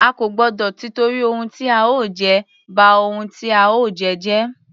A kò gbọdọ tìtorí ohun tí a ó jẹ, ba ohun tí a ó jẹ́ jẹ́.